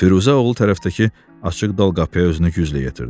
Firuzə oğul tərəfdəki açıq dal qapıya özünü güclə yetirdi.